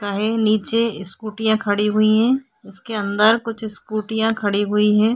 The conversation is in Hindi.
का हे नीचे स्कूटीयां खड़ी हुई है उसके अंदर कुछ स्कूटीयां खड़ी हुई है।